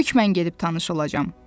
Hökmən gedib tanış olacam.